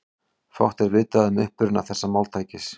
Fátt er vitað um uppruna þessa máltækis.